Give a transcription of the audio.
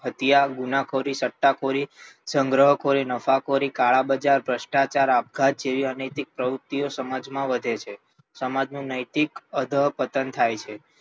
હત્યા ગુનાખોરી સટ્ટાખોરી સંગ્રહખોરી નફાખોરી કાળાબજાર ભ્રષ્ટાચાર આપઘાત જેવી અનૈતિક પ્રવૃત્તિઓ સમાજમાં વધે છે સમાજનું નૈતિક અધઃપતન થાય છે